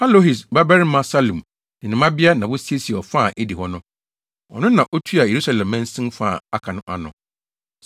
Halohes babarima Salum ne ne mmabea na wosiesiee ɔfa a edi hɔ no. Ɔno na na otua Yerusalem mansin fa a aka no ano.